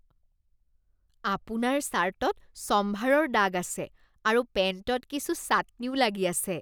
আপোনাৰ চাৰ্টত ছম্ভাৰৰ দাগ আছে আৰু পেন্টত কিছু চাটনিও লাগি আছে।